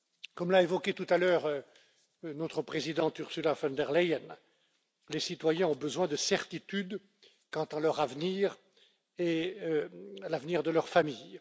Comme l'a évoqué tout à l'heure notre présidente Ursula von der Leyen, les citoyens ont besoin de certitudes quant à leur avenir et à l'avenir de leur famille.